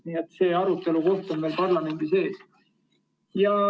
Nii et see arutelu on parlamendis ees.